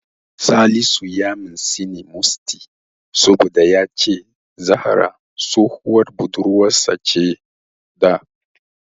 Salisu ya mintsini Musty saboda ya ce Zahra tsohuwar budurwarsa ce da.